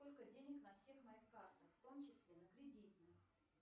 сколько денег на всех моих картах в том числе на кредитных